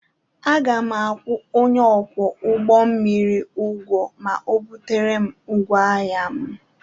Aga m akwụ onye ọkwọ ụgbọ mmiri ụgwọ ma ọ butere m ngwaahịa m.